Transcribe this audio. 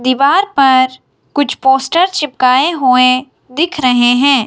दीवार पर कुछ पोस्टर चिपकाए हुए दिख रहे हैं।